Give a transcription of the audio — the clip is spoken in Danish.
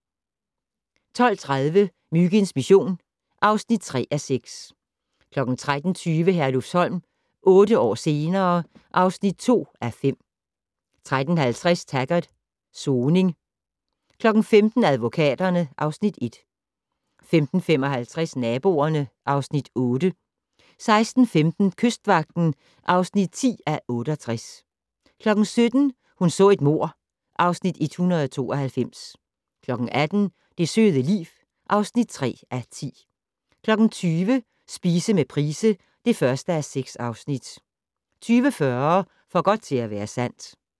12:30: Myginds mission (3:6) 13:20: Herlufsholm - otte år senere ... (2:5) 13:50: Taggart: Soning 15:00: Advokaterne (Afs. 1) 15:55: Naboerne (Afs. 8) 16:15: Kystvagten (10:68) 17:00: Hun så et mord (Afs. 192) 18:00: Det søde liv (3:10) 20:00: Spise med Price (1:6) 20:40: For godt til at være sandt